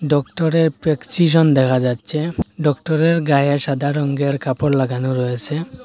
ডক্টরের প্রেচকিশন দেখা যাচ্ছে ডক্টরের গায়ে সাদা রঙ্গের কাপড় লাগানো রয়েসে ।